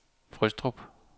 Frøstrup